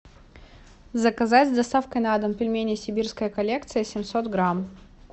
заказать с доставкой на дом пельмени сибирская коллекция семьсот грамм